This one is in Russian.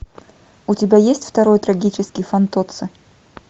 у тебя есть второй трагический фантоцци